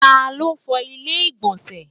ta ló fo ilé igbọnsẹ?